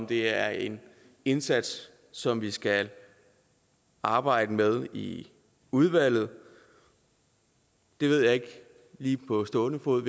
det er en indsats som vi skal arbejde med i udvalget ved jeg ikke lige på stående fod